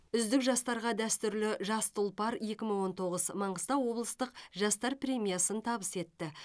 үздік жастарға дәстүрлі жас тұлпар екі мың он тоғыз маңғыстау облыстық жастар премиясын табыс етті